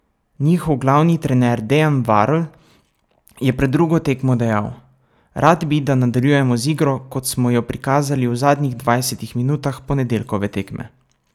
Njihov glavni trener Dejan Varl je pred drugo tekmo dejal: 'Rad bi, da nadaljujemo z igro, ki smo jo prikazali v zadnjih dvajsetih minutah ponedeljkove tekme.